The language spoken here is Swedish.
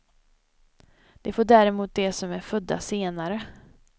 Det får däremot de som är födda senare.